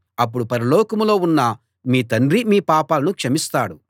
అప్పుడు పరలోకంలో ఉన్న మీ తండ్రి మీ పాపాలను క్షమిస్తాడు